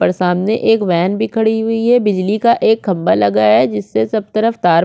पर सामने एक वेन खड़ा हुई है बिजली का एक खम्भा लगा है जिससे सब तरफ तार --